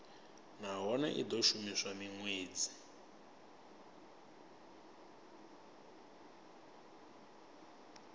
nahone i do shuma minwedzi